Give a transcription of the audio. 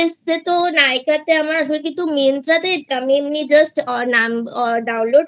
এসেছে তো Nykaa তে আমার আসলে কিন্তু Myntra তে এমনি Just Download